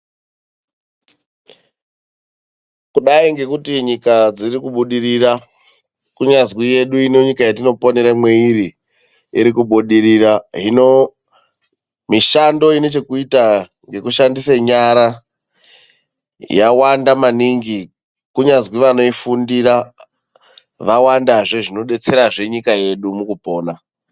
Kudai ngekuti nyika dziri kubudirira, kunyazwi yedu ino nyika yetinoponera mweiri iri kubudirira. Hino, mishando ine chekuita nekushandise nyara yawanda maningi. Kunyazwi vanoifundira vawandazve zvinodetserazve nyika yedu mukupona.